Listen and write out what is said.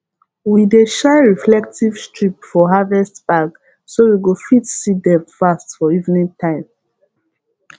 we dey shine reflective strip for harvest bag so we go fit see dem fast for evening time